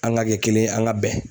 An ka kɛ kelen ye an ka bɛn